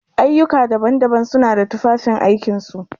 Ayyuka daban-daban suna da tufafin aikin su.